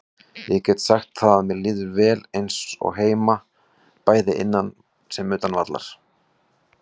Ég get sagt það að mér líður eins og heima, bæði innan sem utan vallar.